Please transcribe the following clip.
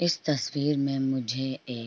इस तस्वीर में मुझे ए --